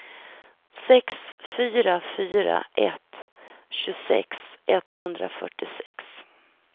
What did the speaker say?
sex fyra fyra ett tjugosex etthundrafyrtiosex